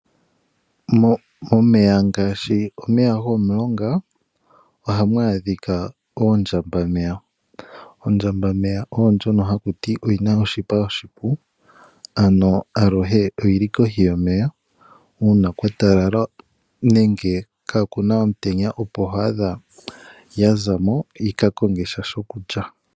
Momeya ngaashi omeya gomo mulonga ohamu adhika ondjambameya. Ondjambameya oyo ndjono haku ti oyina oshipa oshipu, ano aluhe oyili kohi yomeya uuna kwa talala nenge kaa kuna omutenya opo to adha ya zamo yika konge sha sha sho kulya.